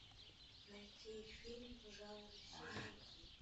найти фильм жанра семейный